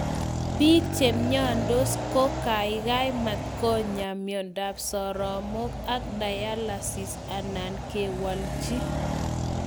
Piik chemyandos kokaikai matkonya miondap soromok ak dialysis anan kewalchi